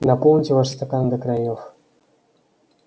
наполните ваши стаканы до краёв